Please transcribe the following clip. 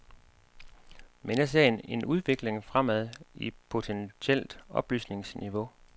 Men jeg ser en udvikling fremad i potentielt oplysningsniveau.